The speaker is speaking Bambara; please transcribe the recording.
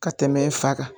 Ka tɛmɛ fa kan